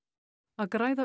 að græða